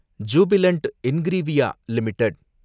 Jubilant Ingrevia limited